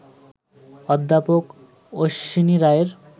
অধ্যাপক অশ্বিনী রায়ের